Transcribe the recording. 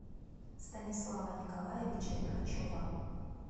станислава николаевича лихачева